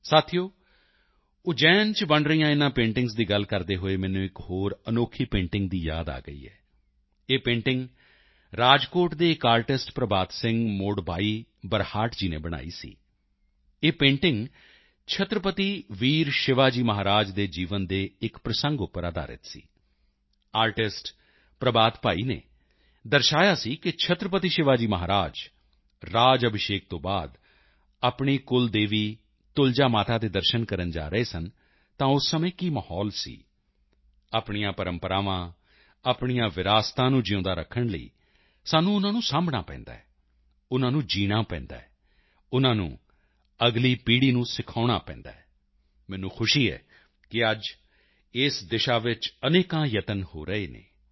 ਸਾਥੀਓ ਉਜੈਨ ਚ ਬਣ ਰਹੀਆਂ ਇਨ੍ਹਾਂ ਪੇਂਟਿੰਗਸ ਦੀ ਗੱਲ ਕਰਦੇ ਹੋਏ ਮੈਨੂੰ ਇੱਕ ਹੋਰ ਅਨੋਖੀ ਪੇਂਟਿੰਗ ਦੀ ਯਾਦ ਆ ਗਈ ਹੈ ਇਹ ਪੇਂਟਿੰਗ ਰਾਜਕੋਟ ਦੇ ਇੱਕ ਆਰਟਿਸਟ ਪ੍ਰਭਾਤ ਸਿੰਘ ਮੋਡਭਾਈ ਬਰਹਾਟ ਜੀ ਨੇ ਬਣਾਈ ਸੀ ਇਹ ਪੇਂਟਿੰਗ ਛਤਰਪਤੀ ਵੀਰ ਸ਼ਿਵਾ ਜੀ ਮਹਾਰਾਜ ਦੇ ਜੀਵਨ ਦੇ ਇੱਕ ਪ੍ਰਸੰਗ ਉੱਪਰ ਅਧਾਰਿਤ ਸੀ ਆਰਟਿਸਟ ਪ੍ਰਭਾਤ ਭਾਈ ਨੇ ਦਰਸਾਇਆ ਸੀ ਕਿ ਛਤਰਪਤੀ ਸ਼ਿਵਾ ਜੀ ਮਹਾਰਾਜ ਰਾਜ ਅਭਿਸ਼ੇਕ ਤੋਂ ਬਾਅਦ ਆਪਣੀ ਕੁਲਦੇਵੀ ਤੁਲਜਾ ਮਾਤਾ ਦੇ ਦਰਸ਼ਨ ਕਰਨ ਜਾ ਰਹੇ ਸਨ ਤਾਂ ਉਸ ਸਮੇਂ ਕੀ ਮਾਹੌਲ ਸੀ ਆਪਣੀਆਂ ਪਰੰਪਰਾਵਾਂ ਆਪਣੀਆਂ ਵਿਰਾਸਤਾਂ ਨੂੰ ਜਿਊਂਦਿਆਂ ਰੱਖਣ ਲਈ ਸਾਨੂੰ ਉਨ੍ਹਾਂ ਨੂੰ ਸਾਂਭਣਾ ਪੈਂਦਾ ਹੈ ਉਨ੍ਹਾਂ ਨੂੰ ਜੀਣਾ ਪੈਂਦਾ ਹੈ ਉਨ੍ਹਾਂ ਨੂੰ ਅਗਲੀ ਪੀੜ੍ਹੀ ਨੂੰ ਸਿਖਾਉਣਾ ਪੈਂਦਾ ਹੈ ਮੈਨੂੰ ਖੁਸ਼ੀ ਹੈ ਕਿ ਅੱਜ ਇਸ ਦਿਸ਼ਾ ਵਿੱਚ ਅਨੇਕਾਂ ਯਤਨ ਹੋ ਰਹੇ ਹਨ